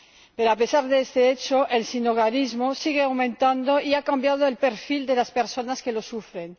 Pero a pesar de este hecho, el sinhogarismo sigue aumentando y ha cambiado el perfil de las personas que lo sufren.